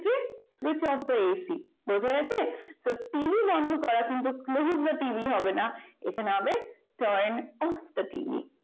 switch off the ac বোঝা গেছে তো টিভি বন্ধ করা কিন্তু closing the tv হবে না turn off the tv